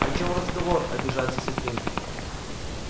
о чем разговор обижается сергей